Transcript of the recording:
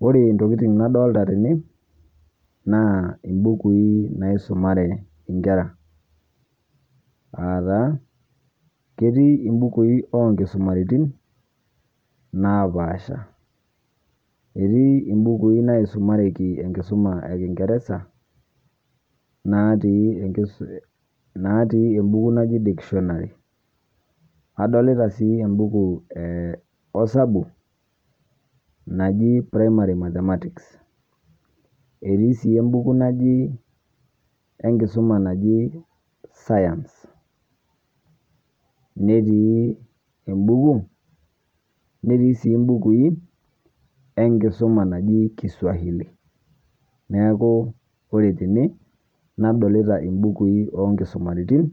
Ore intokitin nadolita tene, naa imbukui naisumare nkera, aa taa ketii imbukui oo nkisumaritin napaasha, etii imbukui naisumareki enkisuma ee kingereza, natii ebuku naji dictionary adolita sii ebuku ee osabu naji primary mathematics, etii sii embuku enkisuma naji science, netii embuku, netii sii imbukui enkisuma naji Kiswahili neeku ore tene nadolita imbukui oo nkisumaritin